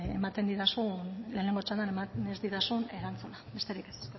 ematen didazun lehenengo txandan eman ez didazun erantzuna besterik ez